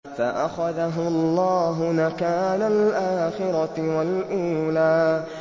فَأَخَذَهُ اللَّهُ نَكَالَ الْآخِرَةِ وَالْأُولَىٰ